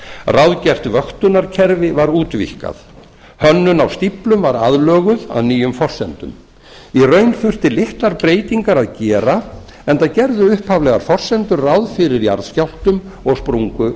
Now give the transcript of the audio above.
ráðgert vöktunarkerfi var útvíkkað hönnun að stíflu var aðlöguð að nýjum forsendum í raun þurfti litlar breytingar að gera enda gerðu upphaflegar forsendur ráð fyrir jarðskjálftum og